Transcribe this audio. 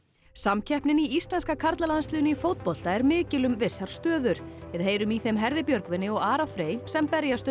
samkeppnin í íslenska karlalandsliðinu í fótbolta er mikil um vissar stöður við heyrum í þeim Herði Björgvini og Ara Frey sem berjast um